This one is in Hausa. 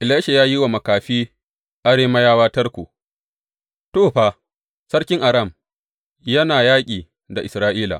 Elisha ya yi wa makafi Arameyawa tarko To, fa, sarkin Aram yana yaƙi da Isra’ila.